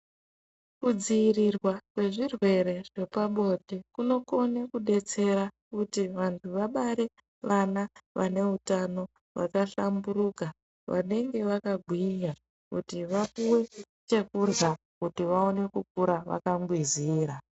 Kudzivirirwa kwezvirwere zvepabonde kunokone kubetsera kuti vanhu vagare vana vane utano vakahlamburuka vanenge vakagwinya kuti vapiwe chekurya kuti vaone kukura vakangwizira.